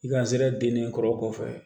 I ka sɛnɛ denni kɔrɔ kɔfɛ